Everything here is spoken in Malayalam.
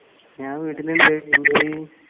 ഞാൻ വീട്ടിലുണ്ട്. എന്തേയ്?